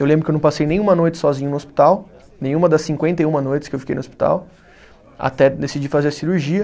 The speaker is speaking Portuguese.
Eu lembro que eu não passei nenhuma noite sozinho no hospital, nenhuma das cinquenta e uma noites que eu fiquei no hospital, até decidir fazer a cirurgia.